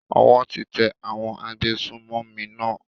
Owó ti tẹ àwọn agbésùnmọ̀mí náà.